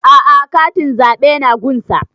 A'a katin zaɓe na gun sa